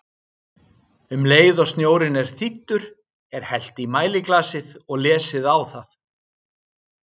Um leið og snjórinn er þíddur, er hellt í mæliglasið og lesið á það.